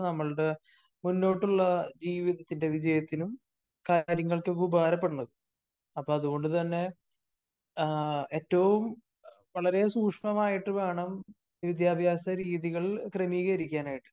നമ്മളുടെ മുന്നോട്ടുളള ജീവിതത്തിന്റെ വിജയത്തിനും കാര്യങ്ങൾക്കൊക്കെ ഉപകാരപ്പെടുന്നത്. അപ്പോ അതുകൊണ്ട് തന്നെ ആ ഏറ്റവും വളരെ സൂക്ഷ്മമായിട്ട് വേണം വിദ്യാഭ്യാസ രീതികൾ ക്രമീകരിക്കാനായിട്ട്